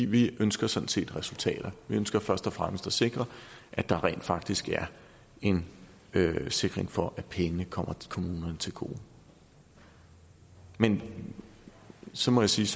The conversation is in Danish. vi ønsker sådan set resultater vi ønsker først og fremmest at sikre at der rent faktisk er en sikkerhed for at pengene kommer kommunerne til gode men så må jeg sige